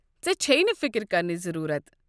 ژےٚ چھیہ نہٕ فِكِر كرنٕچ ضروٗرت ۔